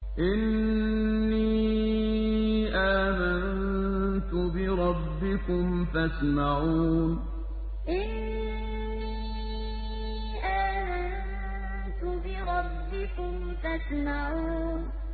إِنِّي آمَنتُ بِرَبِّكُمْ فَاسْمَعُونِ إِنِّي آمَنتُ بِرَبِّكُمْ فَاسْمَعُونِ